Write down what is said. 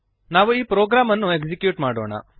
ನಾವು ಈ ಪ್ರೋಗ್ರಾಂ ಅನ್ನು ಎಕ್ಸಿಕ್ಯೂಟ್ ಮಾಡೋಣ